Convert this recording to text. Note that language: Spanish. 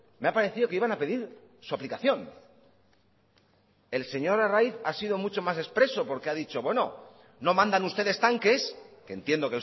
me ha parecido que iban a pedir su aplicación el señor arraiz ha sido mucho más expreso porque ha dicho bueno no mandan ustedes tanques que entiendo